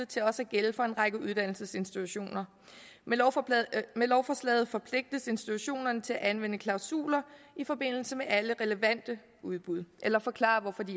til også at gælde for en række uddannelsesinstitutioner med med lovforslaget forpligtes institutionerne til at anvende klausuler i forbindelse med alle relevante udbud eller forklare hvorfor de